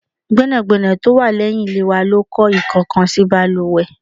Gbẹ́nàgbẹ́nà tí ó wà leyin ilé wa ló kọ ikokansi baluwe